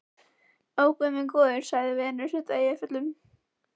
Ó, guð minn góður, sagði Venus undan Eyjafjöllum.